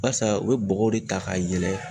Barisa u be bɔgɔw de ta ka yɛlɛ